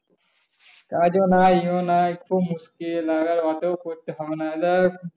কাজও নাই ই ও নাই খুব মুসকিল।